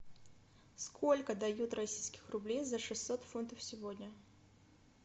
сколько дают российских рублей за шестьсот фунтов сегодня